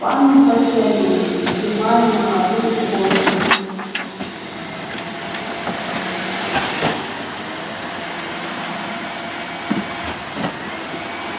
парни подтягиваются допивая на ходу из горла